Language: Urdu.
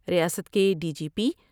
ریاست کے ڈی جی پی ۔